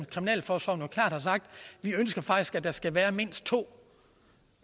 kriminalforsorgen jo klart har sagt vi ønsker faktisk at der skal være mindst to